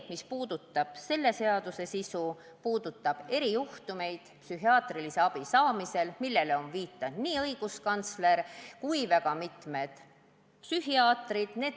Selle seaduse sisu puudutab erijuhtumeid psühhiaatrilise abi saamisel, millele on viidanud nii õiguskantsler kui ka mitmed psühhiaatrid.